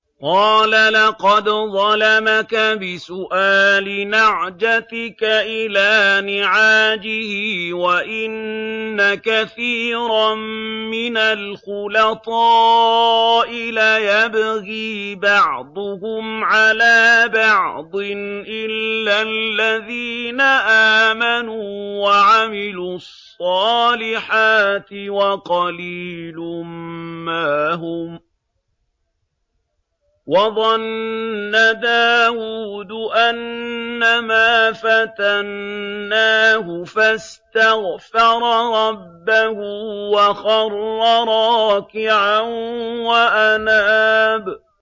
قَالَ لَقَدْ ظَلَمَكَ بِسُؤَالِ نَعْجَتِكَ إِلَىٰ نِعَاجِهِ ۖ وَإِنَّ كَثِيرًا مِّنَ الْخُلَطَاءِ لَيَبْغِي بَعْضُهُمْ عَلَىٰ بَعْضٍ إِلَّا الَّذِينَ آمَنُوا وَعَمِلُوا الصَّالِحَاتِ وَقَلِيلٌ مَّا هُمْ ۗ وَظَنَّ دَاوُودُ أَنَّمَا فَتَنَّاهُ فَاسْتَغْفَرَ رَبَّهُ وَخَرَّ رَاكِعًا وَأَنَابَ ۩